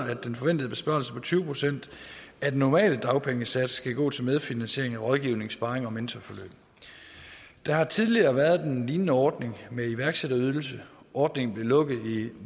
at den forventede besparelse på tyve procent af den normale dagpengesats skal gå til medfinansiering af rådgivning sparring og mentorforløb der har tidligere været en lignende ordning med iværksætterydelse ordningen blev lukket i